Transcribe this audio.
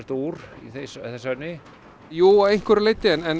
úr í þessu efni jú að einhverju leiti en